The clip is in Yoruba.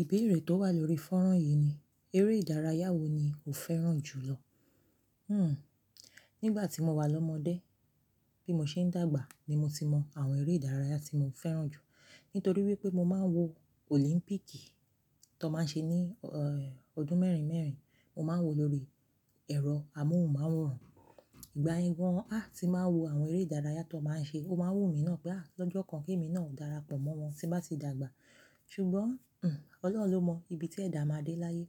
Ìbéèrè tó wà lórí fọ́nrán yìí ni, eré ìdárayá wò ni o fẹ́ràn jù lọ? Hmm. Nígbà tí mo wà lọ́mọdé, bí mo ṣe ń dàgbà ni mo ti mọ àwọn eré ìdárayá tí mo fẹ́ràn jù. Nítorí wípé mo máa ń wo Olimpíìkì, tó máa ń ṣe ní, eh, ọdún mẹ́rin mẹ́rin. Mo máa ń wòó lórí ẹ̀rọ amóhùnmáwòrán. Ìgbà yẹ gán, ah, tí máa ń wo àwọn eré ìdárayá tó máa ń ṣe, ó máa ń wùmí ná pẹ́ á. Ọjọ́ kan kí èmi náà darapọ̀ mọ́ wọn tí bá ti dàgbà. Ṣùgbọ́n, hm, Ọlọ́run ló mọ ibi tí ẹ̀dá máa dé láyé.